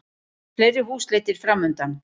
Fleiri húsleitir framundan